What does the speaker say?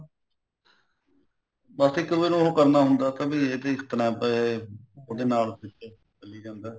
ਬੱਸ ਇੱਕ ਵੱਲੋ ਉਹ ਕਰਨਾ ਹੁੰਦਾ ਕੇ ਇਹ ਬੀ ਇਸ ਤਰ੍ਹਾਂ ਪਏ ਉਹਦੇ ਨਾਲ ਚੱਲੀ ਜਾਂਦਾ